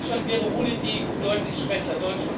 Deutschland wäre ohne die EU deutlich schwächer.